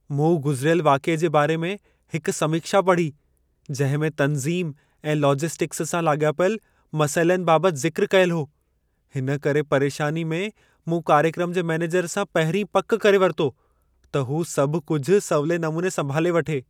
मूं गुज़िरियल वाक़िए जे बारे में हिकु समीक्षा पढ़ी जिंहिं में तंज़ीम ऐं लॉजिस्टिक्स सां लाॻापियल मसइलनि बाबति ज़िक्र कयलु हो , हिन करे परेशानी में मूं कार्यक्रम जे मैनेजर सां पहिरीं पक करे वरितो, त हू सभ कुझु सवले नमूने संभाले वठे।